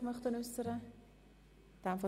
– Das ist nicht der Fall.